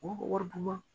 Wari wari dun ma